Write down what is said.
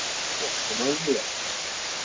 Svo kom að mér.